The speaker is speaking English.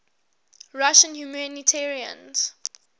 russian humanitarians